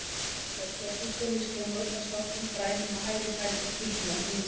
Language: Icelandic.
Hún var í svörtum gúmmískóm og ullarsokkum, grænum á hægri fæti, hvítum á þeim vinstri.